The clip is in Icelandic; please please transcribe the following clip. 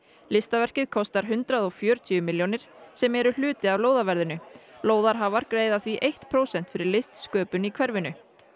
listaverkið kostar hundrað og fjörutíu milljónir sem eru hluti af lóðarhafar greiða því eitt prósent fyrir listsköpun í hverfinu